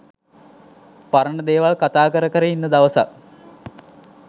පරණ දේවල් කතා කර කර ඉන්න දවසක්